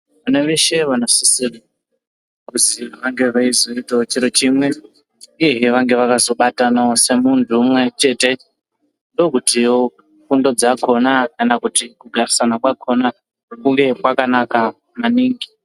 Vanaveshe vanosisire kuzi vange veizoite chiro chimwe uyehe vange vakazobatana semuntu umwechete ndokutiwo fundo dzakona kana kuti kugarisana kwakona kunge kwakanaka maningi.